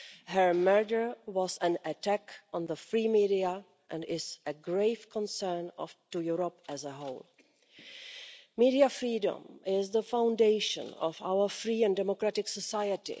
Her murder was an attack on the free media and is of grave concern to Europe as a whole. Media freedom is the foundation of our free and democratic society.